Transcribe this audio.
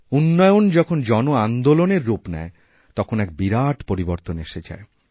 উন্নয়ন যখন জন আন্দোলনের রূপ নেয় তখনএক বিরাট পরিবর্তন এসে যায়